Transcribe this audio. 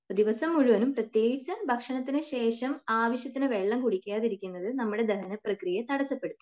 ദിവസം മുഴുവനും പ്രത്യേകിച്ച് ഭക്ഷണത്തിനു ശേഷം ആവശ്യത്തിന് വെള്ളം കുടിക്കാതിരിക്കുന്നത് നമ്മുടെ ദഹനപ്രക്രിയയെ തടസ്സപ്പെടുത്തും.